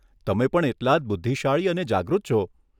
તમે પણ એટલા જ બુદ્ધિશાળી અને જાગૃત છો.